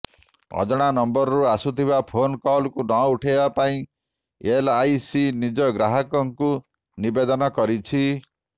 ଅଜଣା ନମ୍ବରରୁ ଆସୁଥିବା ଫୋନ କଲକୁ ନ ଉଠାଇବା ପାଇଁ ଏଲଆଇସି ନିଜ ଗ୍ରାହକଙ୍କୁ ନିବେଦନ କରିଛି